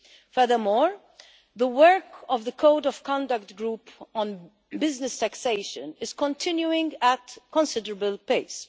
Furthermore, the work of the Code of Conduct Group on business taxation is continuing at considerable pace.